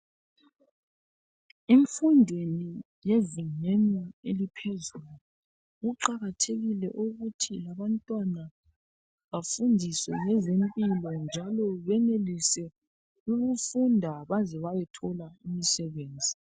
Imfundi yezingeni eliphezulu kuqakathekile ukuthi abantwana bafundiswe ngezempilo njalo benelise ukufunda baze bayethola imisebenzi